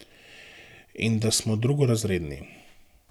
In da smo drugorazredni.